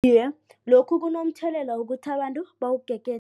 Iye, lokhu kunomthelela wokuthi abantu bawugegede.